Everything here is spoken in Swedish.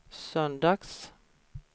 söndags